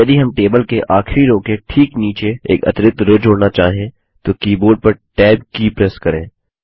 अब यदि हम टेबल की आखिरी रो के ठीक नीचे एक अतिरिक्त रो जोड़ना चाहें तो कीबोर्ड पर Tab की प्रेस करें